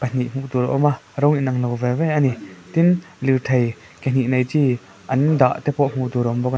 hnih hmuh tur a awm a rawng inanglo ve ve ani tin lirthei ke hnih nei chi an dah te pawh hmuh tur a awm bawk--